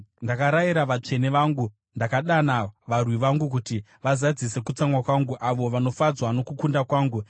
Ndakarayira vatsvene vangu; ndakadana varwi vangu kuti vazadzise kutsamwa kwangu, avo vanofadzwa nokukunda kwangu.